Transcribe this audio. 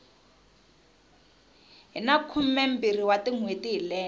hina khumembirhi wa tinhweti hi lembe